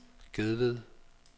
Gedved